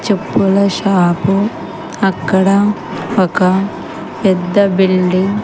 చెప్పుల షాపు అక్కడ ఒక పెద్ద బిల్డింగ్ --